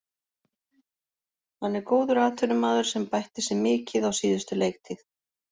Hann er góður atvinnumaður sem bætti sig mikið á síðustu leiktíð.